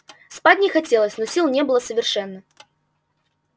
спать не хотелось но сил не было совершенно